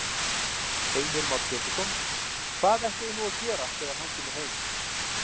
Heimir Már Pétursson: Hvað ætliði nú að gera þegar hann kemur heim?